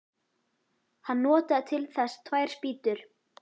Hann notaði til þess tvær spýtur.